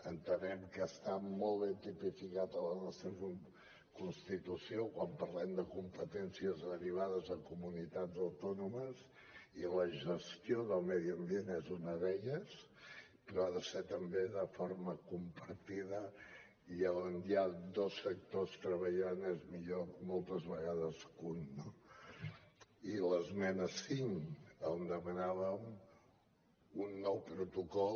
entenem que està molt ben tipificat a la nostra constitució quan parlem de competències derivades a comunitats autònomes i la gestió del medi ambient és una d’elles però ha de ser també de forma compartida i on hi ha dos sectors treballant és millor moltes vegades que un no i l’esmena cinc on demanàvem un nou protocol